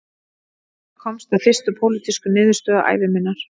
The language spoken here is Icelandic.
Ég komst að fyrstu pólitísku niðurstöðu ævi minnar